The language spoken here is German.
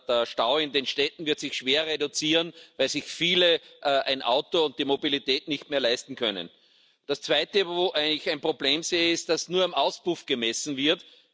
Der Stau in den Städten wird sich schwer reduzieren, weil sich viele ein Auto und die Mobilität nicht mehr leisten können. Das Zweite, wo ich ein Problem sehe, ist, dass nur am Auspuff gemessen wird.